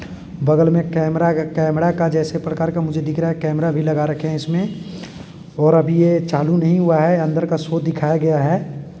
बगल में कैमरा का कैमरा के जैसे प्रकार का मुझे दिख रहा है कैमरा भी लगा रखी है जिसमें | और अभी यह चालू नहीं हुआ है अंदर का शो दिखाया गया है।